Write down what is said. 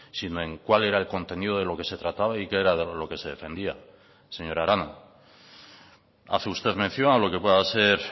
sino en cuál era el contenido de lo que se trataba y qué era de lo que se defendía señora arana hace usted mención a lo que pueda ser